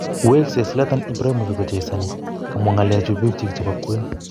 Weksei Zlatan Ibrahimovic kochezoni, kamwa ngalechu pigyik chebo kwen.